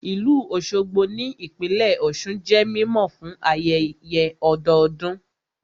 Ìlú Òṣogbo ní ìpínlẹ̀ Ọ̀sun jẹ́ mímọ̀ fún ayẹyẹ ọdọdún